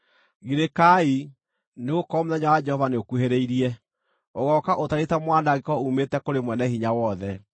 Girĩkai, nĩgũkorwo mũthenya wa Jehova nĩũkuhĩrĩirie; ũgooka ũtariĩ ta mwanangĩko uumĩte kũrĩ Mwene-Hinya-Wothe.